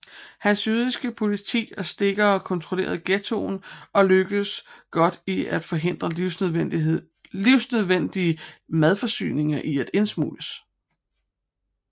Hans jødiske politi og stikkere kontrollerede ghettoen og lykkedes godt i at forhindre livsnødvendige madforsyninger i at indsmugles